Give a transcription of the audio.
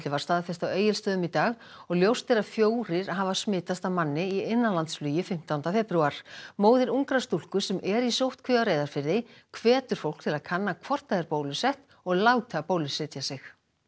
var staðfest á Egilsstöðum í dag og ljóst er að fjórir hafa smitast af manni í innanlandsflugi fimmtánda febrúar móðir ungrar stúlku sem er í sóttkví á Reyðarfirði hvetur fólk til að kanna hvort það er bólusett og láta bólusetja sig